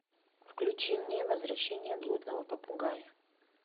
включи мне возвращение блудного попугая